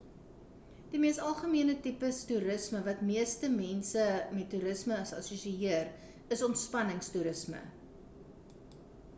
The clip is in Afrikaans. die mees algemene tipes toerisme wat meeste mense met toerisme assosieër is ontspannings toerisme